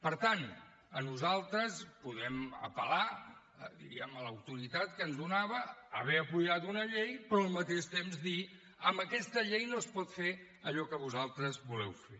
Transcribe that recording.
per tant nosaltres podem apel·lar diguem ne a l’autoritat que ens donava haver donat suport a una llei però al mateix temps dir amb aquesta llei no es pot fer allò que vosaltres voleu fer